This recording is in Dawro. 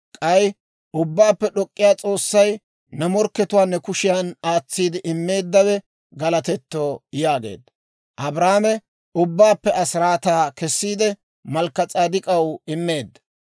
K'ay Ubbaappe D'ok'k'iyaa S'oossay, ne morkkatuwaa ne kushiyaan aatsi immeeddawe galatetto» yaageedda. Abraame ubbabaappe asiraataa kessiide, Malkka-S'edek'k'aw immeedda.